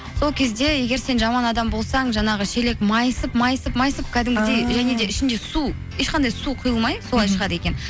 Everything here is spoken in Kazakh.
сол кезде егер сен жаман адам болсаң жаңағы шелек майысып майысып майысып кәдімгідей және де ішінде су ешқандай су құйылмай солай шығады екен